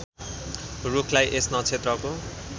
रूखलाई यस नक्षत्रको